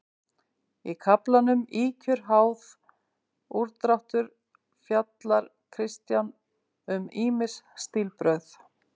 Í kaflanum Ýkjur, háð, úrdráttur fjallar Kristján um ýmis stílbrögð.